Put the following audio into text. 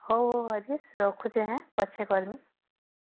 ହଉ ରାଜେଶ ରଖୁଛେ ହଁ ପଛେ କରିବେ